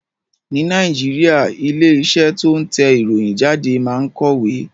Ní Nàìjíríà, ilé iṣẹ́ tó ń tẹ ìròyìn jáde máa ń kọ̀wé